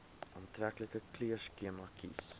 aantreklike kleurskema kies